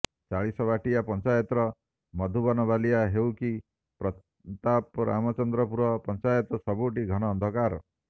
ଚାଳିଶବାଟିଆ ପଞ୍ଚାୟତର ମଧୁବନବାଲିଆ ହେଉ କି ପ୍ରତାପରାମଚନ୍ଦ୍ରପୁର ପଞ୍ଚାୟତ ସବୁଠି ଘନ ଅନ୍ଧକାର